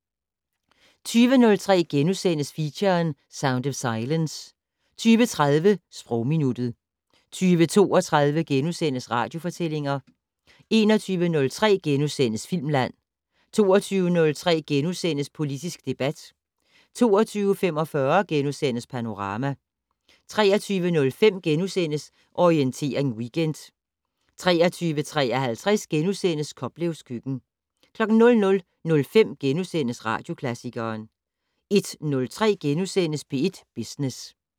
20:03: Feature: Sound of silence * 20:30: Sprogminuttet 20:32: Radiofortællinger * 21:03: Filmland * 22:03: Politisk debat * 22:45: Panorama * 23:05: Orientering Weekend * 23:53: Koplevs køkken * 00:05: Radioklassikeren * 01:03: P1 Business *